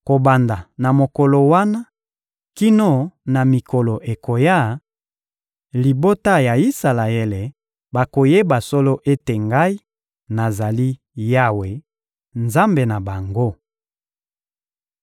Kobanda na mokolo wana kino na mikolo ekoya, libota ya Isalaele bakoyeba solo ete Ngai, nazali Yawe, Nzambe na bango.